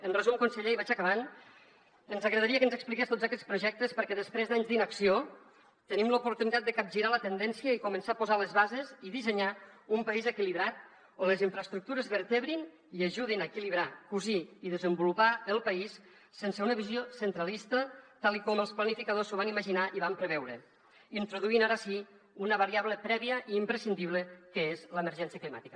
en resum conseller i vaig acabant ens agradaria que ens expliqués tots aquests projectes perquè després d’anys d’inacció tenim l’oportunitat de capgirar la tendència i començar a posar les bases i dissenyar un país equilibrat on les infraestructures vertebrin i ajudin a equilibrar cosir i desenvolupar el país sense una visió centralista tal com els planificadors s’ho van imaginar i ho van preveure introduint ara sí una variable prèvia i imprescindible que és l’emergència climàtica